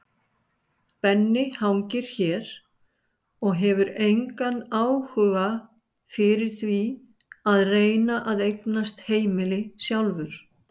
Benni hangir hér og hefur engan áhuga fyrir því að reyna að eignast heimili sjálfur.